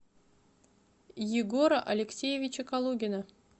егора алексеевича калугина